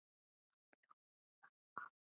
Hún bjó með hann á